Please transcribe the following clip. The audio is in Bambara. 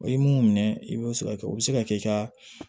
O ye mun minɛ i b'o se ka kɛ o bɛ se ka kɛ i ka